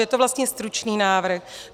Je to vlastně stručný návrh.